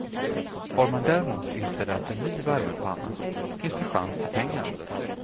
Har man däremot installerat en ny värmepanna finns det chans till pengar.